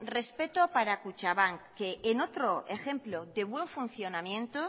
respeto para kutxabank que en otro ejemplo de buen funcionamiento